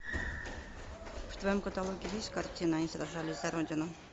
в твоем каталоге есть картина они сражались за родину